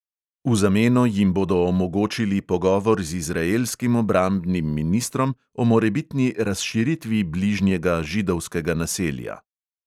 V zameno jim bodo omogočili pogovor z izraelskim obrambnim ministrom o morebitni razširitvi bližnjega židovskega naselja.